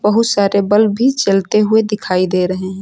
बहुत सारे बल्ब भी जलते हुए दिखाई दे रहे हैं।